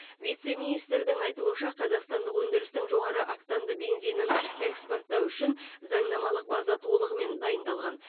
вице министрдің айтуынша қазақстандық өндірістің жоғары октанды бензинін экспорттау үшін заңнамалық база толығымен дайындалған